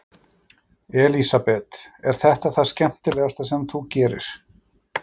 Elísabet: Er þetta það skemmtilegasta sem þú gerir?